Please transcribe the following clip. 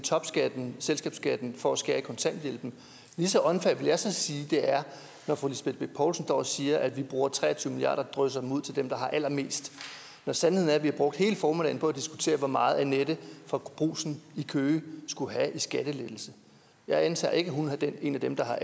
topskatten og selskabsskatten for at skære kontanthjælpen lige så unfair vil jeg så sige det er når fru lisbeth bech poulsen står og siger at vi bruger tre og tyve milliard kroner og drysser dem ud til dem der har allermest når sandheden er at vi har brugt hele formiddagen på diskutere hvor meget annette fra brugsen i køge skulle have i skattelettelse jeg antager ikke at hun er en af dem der har